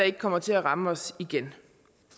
ikke kommer til at ramme os igen